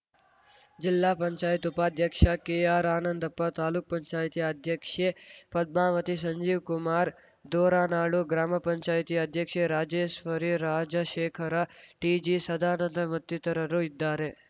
ಜಿಲ್ಲಾಪಂಚಾಯತಿ ಉಪಾಧ್ಯಕ್ಷ ಕೆಆರ್‌ ಆನಂದಪ್ಪ ತಾಲೂಕುಪಂಚಾಯತಿ ಅಧ್ಯಕ್ಷೆ ಪದ್ಮಾವತಿ ಸಂಜೀವ್‌ಕುಮಾರ್‌ ದೋರನಾಳು ಗ್ರಾಮಪಂಚಾಯತಿ ಅಧ್ಯಕ್ಷೆ ರಾಜೇಶ್ವರಿ ರಾಜಶೇಖರ ಟಿಜಿ ಸದಾನಂದ ಮತ್ತಿತರರು ಇದ್ದಾರೆ